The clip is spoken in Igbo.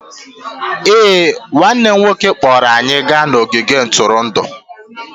Ee, nwanne m nwoke kpọọrọ anyị gaa n'ogige ntụrụndụ